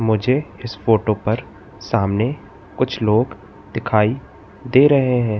मुझे इस फोटो पर सामने कुछ लोग दिखाई दे रहे हैं।